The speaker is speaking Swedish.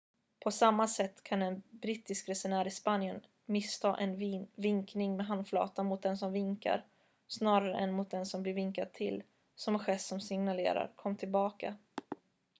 "på samma sätt kan en brittisk resenär i spanien missta en vinkning med handflatan mot den som vinkar snarare än mot den som blir vinkad till som en gest som signalerar "kom tillbaka"".